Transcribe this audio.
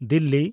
Delhi